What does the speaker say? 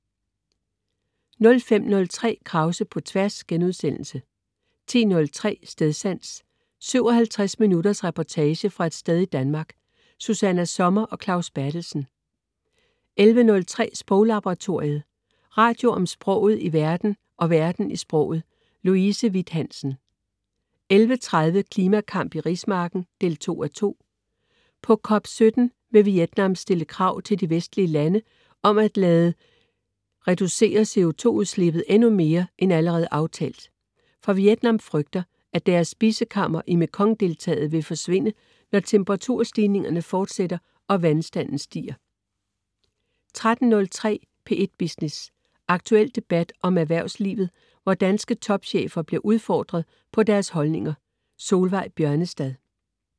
05.03 Krause på Tværs* 10.03 Stedsans. 57 minutters reportage fra et sted i Danmark. Susanna Sommer og Claus Berthelsen 11.03 Sproglaboratoriet. Radio om sproget i verden og verden i sproget. Louise Witt-Hansen 11.30 Klimakamp i rismarken 2:2. På COP 17 vil Vietnam stille krav til de vestlige lande om at de skal reducere CO2 udslippet endnu mere end allerede aftalt. For Vietnam frygter at "deres spisekammer" i Mekong-deltaet vil forsvinde, når temperatur stigningerne fortsætter og vandstanden stiger 13.03 P1 Business. Aktuel debat om erhvervslivet, hvor danske topchefer bliver udfordret på deres holdninger. Solveig Bjørnestad